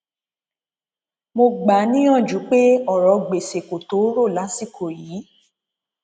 mo gbà á níyànjú pé ọrọ gbèsè kò tó o rò lásìkò yìí